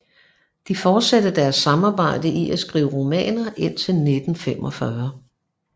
De fortsatte deres samarbejde i at skrive romaner indtil 1945